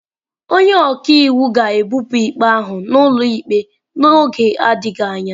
Onye ọka iwu ga-ebupụ ikpe ahụ n'ụlọ ikpe n'oge adịghị anya.